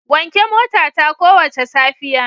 Wanke motata kowace safiya.